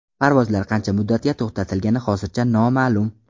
Parvozlar qancha muddatga to‘xtatilgani hozircha noma’lum.